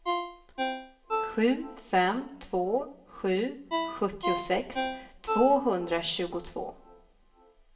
sju fem två sju sjuttiosex tvåhundratjugotvå